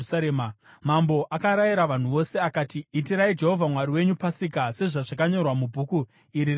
Mambo akarayira vanhu vose akati, “Itirai Jehovha Mwari wenyu Pasika sezvazvakanyorwa muBhuku iri reSungano.”